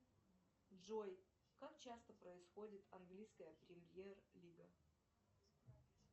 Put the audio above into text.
джой как часто происходит английская премьер лига